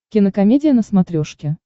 кинокомедия на смотрешке